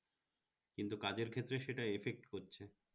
কিন্তু কাজের ক্ষেত্রে সেটা effect করছে